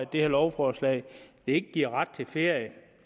det her lovforslag ikke giver ret til ferie